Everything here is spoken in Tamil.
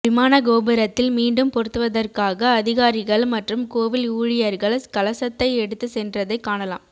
விமான கோபுரத்தில் மீண்டும் பொருத்துவதற்காக அதிகாரிகள் மற்றும் கோவில் ஊழியர்கள் கலசத்தை எடுத்து சென்றதை காணலாம்